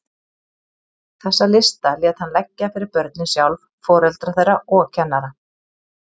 Þessa lista lét hann leggja fyrir börnin sjálf, foreldra þeirra og kennara.